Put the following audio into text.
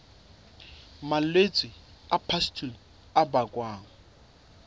malwetse a pustule a bakwang